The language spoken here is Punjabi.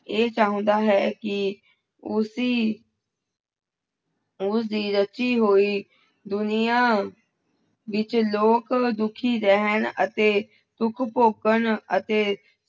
ਇਹ ਚਾਹੁੰਦਾ ਹੈ ਕਿ ਉਸੀ ਉਸਦੀ ਰਚੀ ਹੋਈ ਦੁਨਿਆਂ ਵਿੱਚ ਲੋਕ ਦੁੱਖੀ ਰਹਿਣ ਅਤੇ ਦੁੱਖ ਭੋਗਣ ਅਤੇ